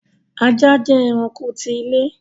ajá jẹ́ ẹrạnko ti ilé